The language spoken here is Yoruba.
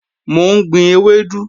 Mò ń gbin ewédú